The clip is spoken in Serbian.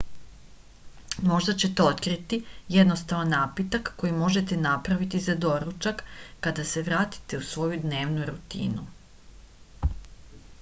možda ćete otkriti jednostavan napitak koji možete napraviti za doručak kad se vratite u svoju dnevnu rutinu